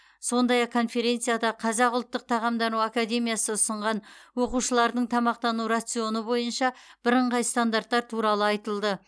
сондай ақ конференцияда қазақ ұлттық тамақтану академиясы ұсынған оқушылардың тамақтану рационы бойынша бірыңғай стандарттар туралы айтылды